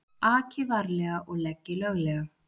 Aki varlega og leggi löglega